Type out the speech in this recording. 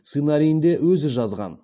сценариін де өзі жазған